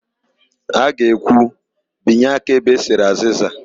Ha ga-ekwu, binye aka ebe e sere azịza"!